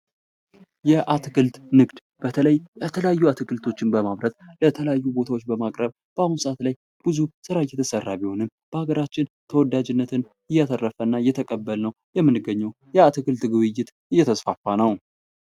የ አትክልትና ንግድ በተለይ የተያዪ አትክልቶችን በማምረት ወደ ተለያዩ ቦታውች የማቅረብ ስራ እየተሰራ ቢሄንም በ ሃገራችን ተወዳጅነትን ያተረፈና የ አትክልት ግብይት እየተስፋ ነው ።